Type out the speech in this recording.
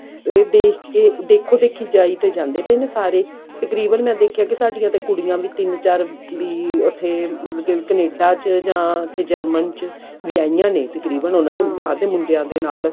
ਦੇਖ ਕਿ ਦੇਖੋ ਦੇਖੀ ਜਾਈ ਤਾਂ ਜਾਂਦੇ ਪਾਏ ਨੇ ਸਾਰੇ ਤਕਰੀਬਨ ਮੈਂ ਦੇਖਿਆ ਕਿ ਸਾਡੀਆਂ ਤਾਂ ਕੁੜੀਆਂ ਵੀ ਤਿੰਨ ਚਾਰ ਵੀ ਉੱਥੇ ਮਤਲਬ ਕਿ ਕਨੇਡਾ ਚ ਜਾਂ ਉੱਥੇ German ਚ ਵਿਆਹੀਆਂ ਨੇ ਤਕਰੀਬਨ ਉਹਨਾਂ ਦੇ ਬਾਹਰ ਦੇ ਦੇ ਨਾਲ